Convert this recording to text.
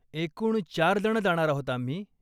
एकूण चार जण जाणार आहोत आम्ही.